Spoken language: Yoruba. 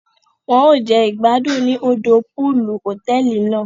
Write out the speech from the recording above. Won o jẹ igbadun ni òdò pọọlù hotẹẹli náà